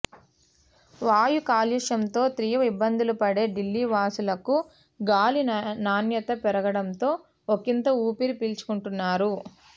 వాయు కాలుష్యంతో తీవ్ర ఇబ్బందులు పడే ఢిల్లీ వాసులకు గాలి నాణ్యత పెరగడంతో ఒకింత ఊపిరి పీలుకుంటున్నారు